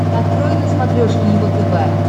открой на смотрешке его тв